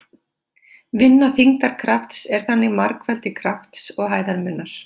Vinna þyngdarkrafts er þannig margfeldi krafts og hæðarmunar.